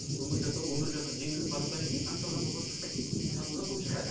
өмір жасау өмір жасау жеңілдеп баратқаннан кейін шаң тозаңға көп шықпайды дейсіз ғой шаң тозаңға көп шықпайды